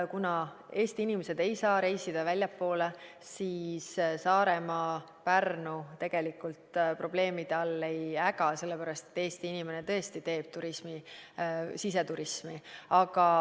Kuna Eesti inimesed ei saa reisida väljapoole, siis näiteks Saaremaa ja Pärnu tegelikult probleemide all ei äga, sellepärast et Eesti inimene tõesti harrastab turismi, siseturismi.